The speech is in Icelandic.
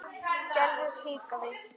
Gerður hikaði.